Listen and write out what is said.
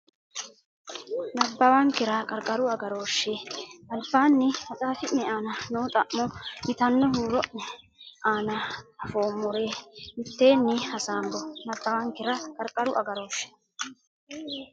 nabbawankera Qarqaru Agarooshshe albaanni maxaafi ne aana noo xa mo yitanno huuro ne aana anfoommore mitteenni hasaambo nabbawankera Qarqaru Agarooshshe.